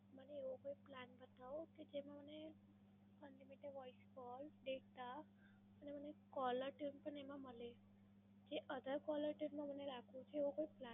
મને એવો કોઈ plan બતાઓ કે જેમાં મને unlimited voice call, data અને caller tune પણ એમાં મલે. જે other caller tune માં મને રાખવું છે. એવું કઈ